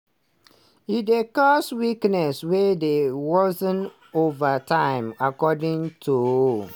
e dey cause weakness wey dey worsen ova time according tonhs.